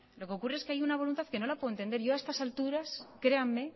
lo que ocurre es que hay una voluntad que no la puedo entender yo a estas alturas créanme